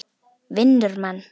Vinnur mann.